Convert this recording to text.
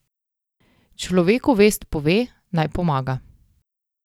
Človeku vest pove, naj pomaga.